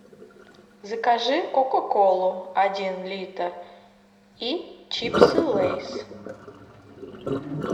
закажи кока колу один литр и чипсы лейс